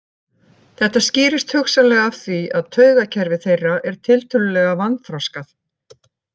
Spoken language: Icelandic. Þetta skýrist hugsanlega af því að taugakerfi þeirra er tiltölulega vanþroskað.